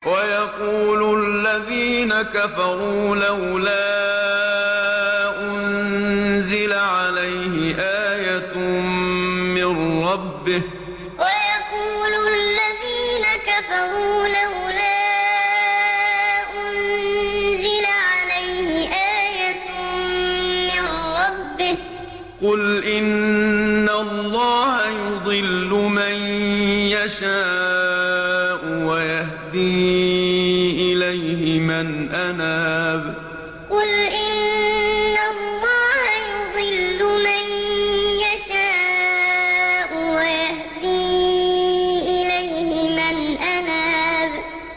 وَيَقُولُ الَّذِينَ كَفَرُوا لَوْلَا أُنزِلَ عَلَيْهِ آيَةٌ مِّن رَّبِّهِ ۗ قُلْ إِنَّ اللَّهَ يُضِلُّ مَن يَشَاءُ وَيَهْدِي إِلَيْهِ مَنْ أَنَابَ وَيَقُولُ الَّذِينَ كَفَرُوا لَوْلَا أُنزِلَ عَلَيْهِ آيَةٌ مِّن رَّبِّهِ ۗ قُلْ إِنَّ اللَّهَ يُضِلُّ مَن يَشَاءُ وَيَهْدِي إِلَيْهِ مَنْ أَنَابَ